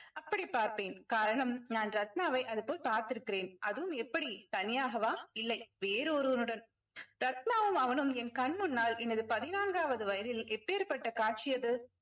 அப்படி பார்ப்பேன் காரணம் நான் ரத்னாவை அதுபோல் பார்த்திருக்கிறேன் அதுவும் எப்படி தனியாகவா இல்லை வேறு ஒருவனுடன் ரத்னாவும் அவனும் என் கண் முன்னால் எனது பதினான்காவது வயதில் எப்பேர்ப்பட்ட காட்சி அது